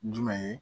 Jumɛn ye